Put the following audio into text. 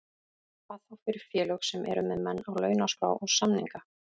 Hvað þá fyrir félög sem eru með menn á launaskrá og samninga.